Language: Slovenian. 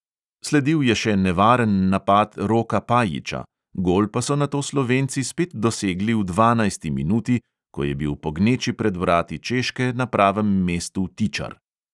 Sledil je še nevaren napad roka pajiča, gol pa so nato slovenci spet dosegli v dvanajsti minuti, ko je bil po gneči pred vrati češke na pravem mestu tičar.